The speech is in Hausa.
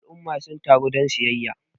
al'umma sun taru don siyayya